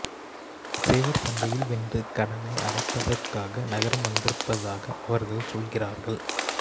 சேவற்சண்டையில் வென்று கடனை அடைப்பதற்காக நகரம் வந்திருப்பதாக அவர்கள் சொல்லுகிறார்கள்